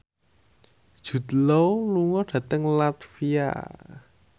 Jude Law lunga dhateng latvia